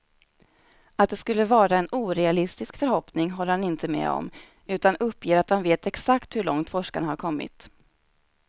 Att det skulle vara en orealistisk förhoppning håller han inte med om, utan uppger att han vet exakt hur långt forskarna har kommit.